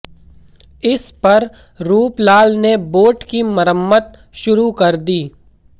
इस पर रूपलाल ने बोट की मरम्मत शुरू कर दी